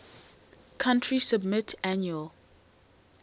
country submit annual